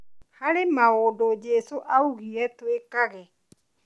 Harĩ maũndũ Jesũ augĩre twĩkage